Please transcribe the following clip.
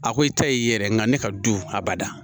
A ko i ta ye yɛrɛ nga ne ka du a bada